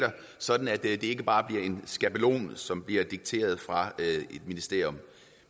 sådan at det ikke bare bliver en skabelon som bliver dikteret fra et ministerium